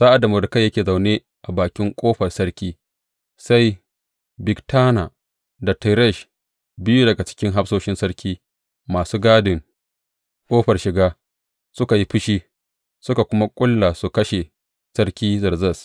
Sa’ad da Mordekai yake zaune a bakin ƙofar sarki, sai Bigtana da Teresh, biyu daga cikin hafsoshin sarki masu gadin ƙofar shiga, suka yi fushi, suka kuma ƙulla su kashe sarki Zerzes.